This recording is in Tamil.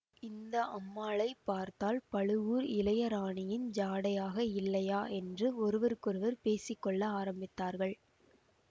இந்த அம்மாளை பார்த்தால் பழுவூர் இளையராணியின் ஜாடையாக இல்லையா என்று ஒருவருக்கொருவர் பேசிகொள்ள ஆரம்பித்தார்கள்